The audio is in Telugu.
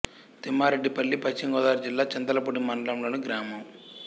తిమ్మారెడ్డిపల్లి పశ్చిమ గోదావరి జిల్లా చింతలపూడి మండలం లోని గ్రామం